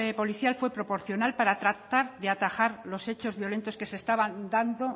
policial fue proporcional para tratar de atajar los hechos violentos que se estaban dando